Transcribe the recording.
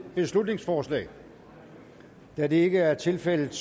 beslutningsforslag da det ikke er tilfældet